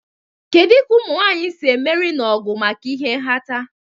Kedu ka ụmụ nwanyị si emeri n'ọgụ maka ịha nhata?